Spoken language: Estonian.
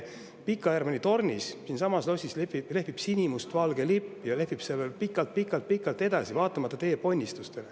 Pika Hermanni tornis siinsamas lehvib sinimustvalge lipp ja see lehvib seal veel pikalt-pikalt-pikalt edasi, vaatamata teie ponnistustele.